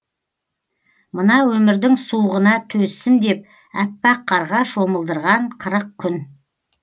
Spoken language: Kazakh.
мына өмірдің суығына төзсін деп аппақ қарға шомылдырған қырық күн